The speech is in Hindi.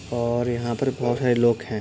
और यहाँ पर बहोत सारे लोग है।